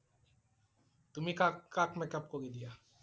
তুমি কাক কাক makeup কৰি দিয়া?